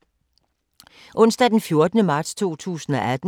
Onsdag d. 14. marts 2018